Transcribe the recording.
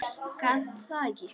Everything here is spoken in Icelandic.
Gat það ekki.